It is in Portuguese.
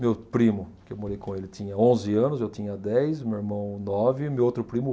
Meu primo, que eu morei com ele, tinha onze anos, eu tinha dez, meu irmão nove e meu outro primo